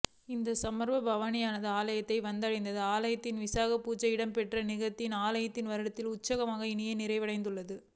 இந்த சப்பர பவணியானது ஆலயத்தை வந்தடைந்ததும் ஆலயத்தில் விசேட பூசைகள் இடம்பெற்று நாகதம்பிரான் ஆலயத்தின் வருடாந்த உற்சவம் இனிதே நிறைவுற்றது